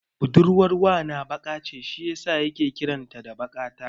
Budurwar wana baƙa ce shi yasa yake kiran ta da Baƙata.